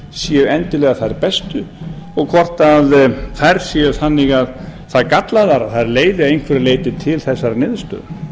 séu endilega þær bestu og hvort þær séu það gallaðar að þær leiði að einhverju leyti til þessarar niðurstöðu